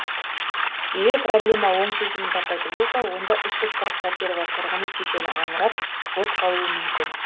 егер проблема оң шешімін таппайтын болса онда үш жүз қырық пәтері бар тұрғын үй кешені аңырап бос қалуы мүмкін